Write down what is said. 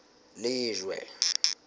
lejwe